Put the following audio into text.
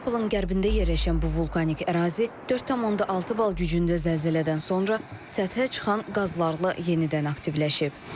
Neapolun qərbində yerləşən bu vulkanik ərazi 4.6 bal gücündə zəlzələdən sonra səthə çıxan qazlarla yenidən aktivləşib.